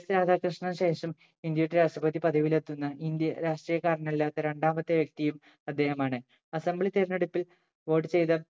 S രാധാകൃഷ്ണന് ശേഷം ഇന്ത്യയുടെ രാഷ്‌ട്രപതി പദവിയിൽ എത്തുന്ന ഇന്ത്യൻ രാഷ്ട്രീയക്കാരനല്ലാത്ത രണ്ടാമത്തെ വ്യക്തിയും അദ്ദേഹമാണ് Assembly തെരെഞ്ഞെടുപ്പിൽ വോട്ട് ചെയ്ത